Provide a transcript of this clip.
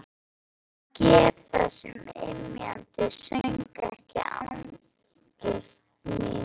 Ég gef þessum ymjandi söng ekki angist mína.